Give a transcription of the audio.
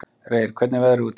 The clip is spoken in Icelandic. Reyr, hvernig er veðrið úti?